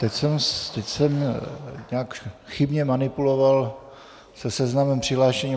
Teď jsem nějak chybně manipuloval se seznamem přihlášených.